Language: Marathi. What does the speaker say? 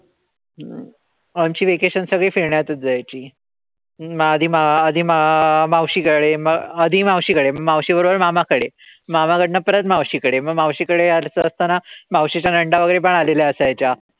आमचे vacations सगळे फिरण्यातच जायचे. आधी म आधी म मावशीकडे. म आधी मावशींकडून. म मावशीबरोबर मामाकडे. मामाकडन परत मावशीकडे. म मावशीकडे असताना मावशीच्या नंदा वगैरे पण आलेल्या असायच्या.